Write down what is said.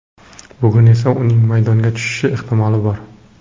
Bugun esa uning maydonga tushishi ehtimoli bor.